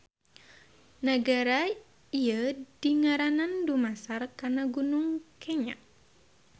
Nagara ieu dingaranan dumasar kana Gunung Kenya.